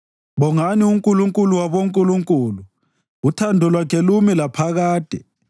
Bongani uNkulunkulu wabonkulunkulu. Uthando lwakhe lumi laphakade.